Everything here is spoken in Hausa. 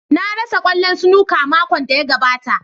Na rasa kwallon snooker makon da ya gabata.